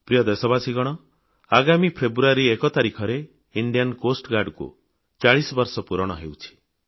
ପ୍ରିୟ ଦେଶବାସୀଗଣ 1 ଫେବୃୟାରୀ 2017 ତାରିଖରେ ଭାରତୀୟ ତଟରକ୍ଷୀ ବାହିନୀକୁ 40ବର୍ଷ ପୂରଣ ହେଉଛି